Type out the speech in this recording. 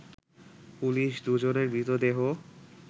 police দুজনের মৃতদেহ